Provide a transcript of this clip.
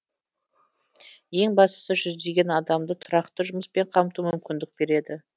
ең бастысы жүздеген адамды тұрақты жұмыспен қамтуға мүмкіндік береді